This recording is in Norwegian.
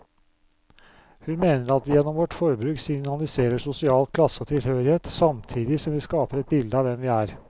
Hun mener at vi gjennom vårt forbruk signaliserer sosial klasse og tilhørighet, samtidig som vi skaper et bilde av hvem vi er.